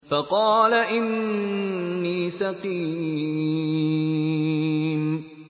فَقَالَ إِنِّي سَقِيمٌ